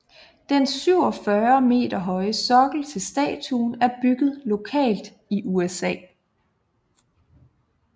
Den 47 meter høje sokkel til statuen er bygget lokalt i USA